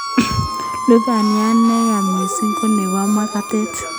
Lubaniat neya missing konebo magatet